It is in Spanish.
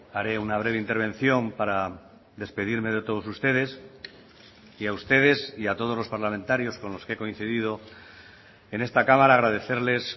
haré una breve intervención para despedirme de todos ustedes y a ustedes y a todos los parlamentarios con los que he coincidido en esta cámara agradecerles